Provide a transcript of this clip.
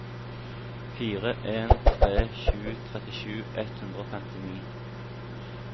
fire en tre sju trettisju ett hundre og femtini